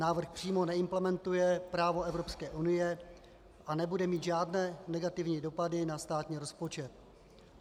Návrh přímo neimplementuje právo Evropské unie a nebude mít žádné negativní dopady na státní rozpočet.